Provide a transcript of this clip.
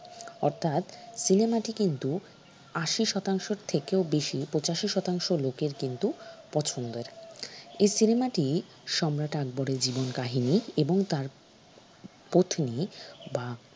অর্থাৎ cinema টি কিন্তু আশি শতাংশের থেকেও বেশি পঁচাশি শতাংশ লোকের কিন্তু পছন্দের এই cinema টি সম্রাট আকবরের জীবন কাহিনী এবং তার পত্নি বা